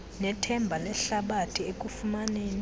nethemba lehlabathi ekufumaneni